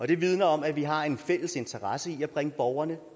det vidner om at vi har en fælles interesse i at bringe borgerne